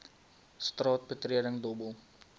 straat betreding dobbel